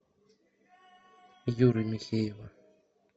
юры михеева